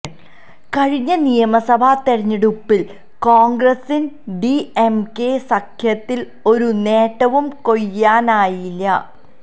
കഴിഞ്ഞ നിയമസഭാ തെരഞ്ഞെടുപ്പില് കോണ്ഗ്രസിന് ഡിഎംകെ സഖ്യത്തില് ഒരു നേട്ടവും കൊയ്യാനായില്ല